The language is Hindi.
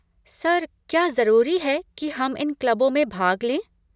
सर, क्या जरूरी है कि हम इन क्लबों में भाग लें?